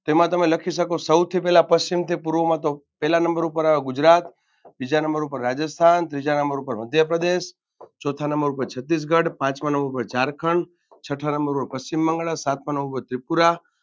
તેમાં તમે લખી શકો સૌથી પહેલા પશ્ચિમથી પૂર્વમાં તો પેલા નંબર પર આવે ગુજરાત બીજા નંબર પર રાજસ્થાન ત્રીજા નંબર પર મધ્યપ્રદેશ ચોથા નંબર પર છત્તીસગઢ પાંચમા નંબર પર ઝારખંડ છટ્ઠા નંબર પર પશ્ચિમબંગાળા સાતમા નંબર પર ત્રિપુરા